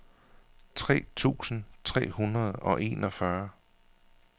tre tusind tre hundrede og enogfyrre